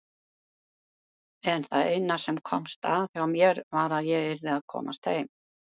En það eina sem komst að hjá mér var að ég yrði að komast heim.